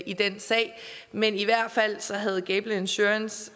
i den sag men i hvert fald havde gable insurance